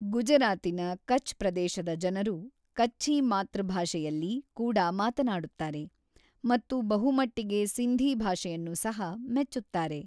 ಗುಜರಾತಿನ ಕಚ್ ಪ್ರದೇಶದ ಜನರು ಕಚ್ಛೀ ಮಾತೃ ಭಾಷೆಯಲ್ಲಿ ಕೂಡ ಮಾತನಾಡುತ್ತಾರೆ, ಮತ್ತು ಬಹುಮಟ್ಟಿಗೆ ಸಿಂಧೀ ಭಾಷೆಯನ್ನು ಸಹ ಮೆಚ್ಚುತ್ತಾರೆ.